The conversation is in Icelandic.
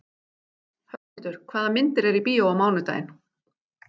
Höskuldur, hvaða myndir eru í bíó á mánudaginn?